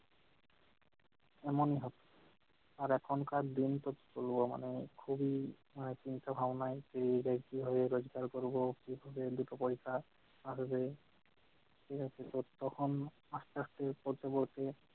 এমনভাবে। আর এখনকার দিন তো মানে কি বলবো মানে খুবই মানে চিন্তা-ভাবনায় পেরিয়ে যায় কিভাবে রোজগার করবো, কিভাবে দুটো পয়সা আসবে, ঠিকআছে তো তখন আস্তে-আস্তে পড়তে পড়তে